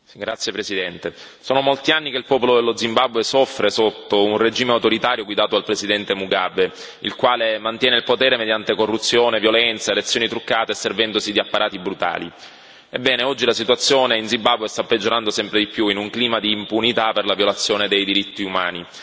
Signor Presidente, onorevoli colleghi, sono molti anni che il popolo dello Zimbabwe soffre sotto un regime autoritario guidato dal presidente Mugabe, il quale mantiene il potere mediante corruzione, violenza, elezioni truccate e servendosi di apparati brutali. Ebbene, oggi la situazione in Zimbabwe sta peggiorando sempre di più, in un clima di impunità per la violazione dei diritti umani.